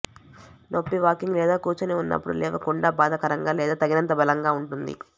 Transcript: నొప్పి వాకింగ్ లేదా కూర్చొని ఉన్నప్పుడు లేవకుండా బాధాకరంగా లేదా తగినంత బలంగా ఉంటుంది